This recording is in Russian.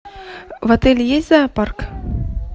в отеле есть зоопарк